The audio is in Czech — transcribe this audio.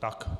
Tak.